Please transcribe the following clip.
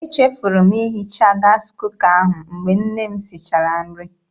Echefuru m ihicha gaasị kuka ahụ mgbe nne m sichara nri.